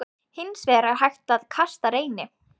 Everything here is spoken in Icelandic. Hins vegar er hægt að kasta Reyni.